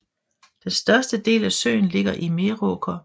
Den største del af søen ligger i Meråker